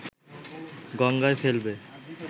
গঙ্গায় ফেলবে